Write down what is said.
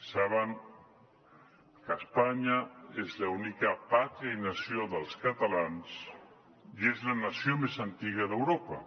saben que espanya és l’única pàtria i nació dels catalans i és la nació més antiga d’europa